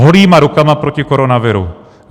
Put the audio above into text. Holýma rukama proti koronaviru.